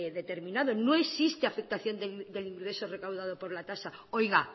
determinado no existe afectación del ingreso recaudado por la tasa oiga